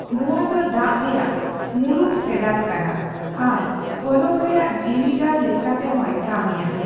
ᱱᱚᱣᱟ ᱫᱚ ᱫᱟᱜ ᱨᱮᱭᱟᱜ ᱢᱩᱲᱩᱫ ᱯᱷᱮᱰᱟᱛ ᱠᱟᱱᱟ ᱟᱨ ᱯᱚᱱᱚᱛ ᱨᱮᱭᱟᱜ ᱡᱤᱣᱤᱜᱟᱨ ᱞᱮᱠᱟ ᱛᱮᱦᱚᱭ ᱠᱟᱹᱢᱤᱭᱟ ᱾